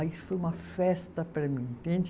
Aí foi uma festa para mim, entende?